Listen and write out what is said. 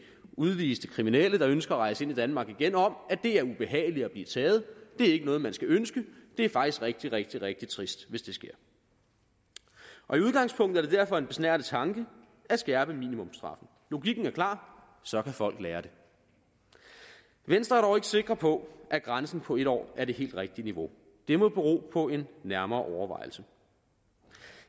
udviste kriminelle der ønsker at rejse ind i danmark igen om at det er ubehageligt at blive taget det er ikke noget man skal ønske det er faktisk rigtig rigtig rigtig trist hvis det sker i udgangspunktet er det derfor en besnærende tanke at skærpe minimumsstraffen logikken er klar så kan folk lære det venstre er sikre på at grænsen på en år er det helt rigtige niveau det må bero på en nærmere overvejelse